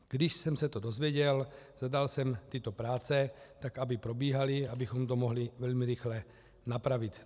Když jsem se to dozvěděl, zadal jsem tyto práce tak, aby probíhaly, abychom to mohli velmi rychle napravit.